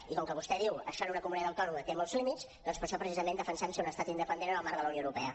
i com que vostè diu això per a una comunitat autònoma té molts límits doncs per això precisament defensem ser un estat independent en el marc de la unió europea